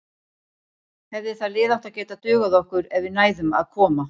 Hefði það lið átt að geta dugað okkur ef við næðum að koma